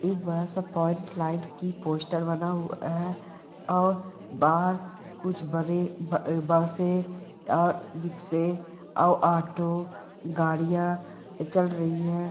एक बड़ा सा फ्रंटलाइन की पोस्टर बना हुआ है और बाहर कुछ बड़े आ- बसे आ- रिक्शे और ऑटो गाड़ियां चल रही है।